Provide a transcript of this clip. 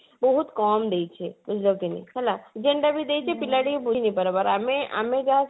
ବହୁତ କମ ଦେଇଛେ ହେଲା ଯେନ୍ତା ବି ଦେଇଛେ ପିଲା ଟିକେ ବୁଝି ନେଇ ପାରବାର ଆମେ ଆମେ